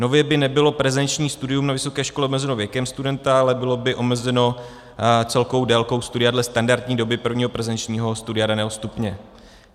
Nově by nebylo prezenční studium na vysoké škole omezeno věkem studenta, ale bylo by omezeno celkovou délkou studia dle standardní doby prvního prezenčního studia daného stupně.